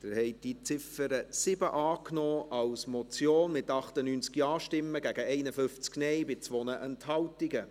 Sie haben die Ziffer 7 als Motion angenommen, mit 98 Ja- gegen 51 Nein-Stimmen bei 2 Enthaltungen.